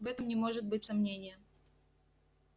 в этом не может быть сомнения